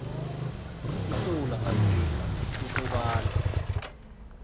isewula afrika ukobana